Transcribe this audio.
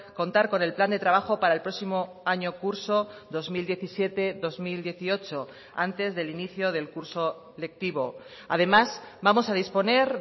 contar con el plan de trabajo para el próximo año curso dos mil diecisiete dos mil dieciocho antes del inicio del curso lectivo además vamos a disponer